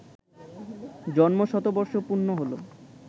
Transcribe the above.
জন্ম শতবর্ষ পূর্ণ হলো